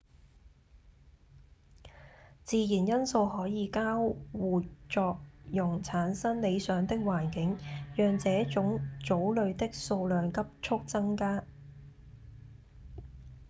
自然因素可以交互作用產生理想的環境讓這種藻類的數量急速增加